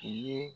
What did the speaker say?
U ye